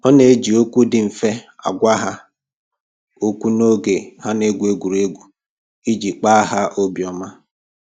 Ọ na-eji okwu dị mfe agwa ha okwu n'oge ha na-egwu egwuregwu iji kpa ha obi ọma